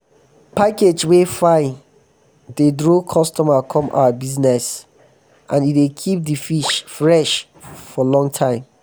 package um wey fine dey draw customer come our bizness and e dey keep di fish fresh for long time.